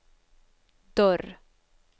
dörr